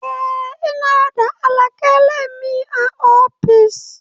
Eh ina da alkalami a ofis.